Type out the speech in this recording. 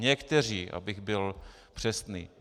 Někteří, abych byl přesný.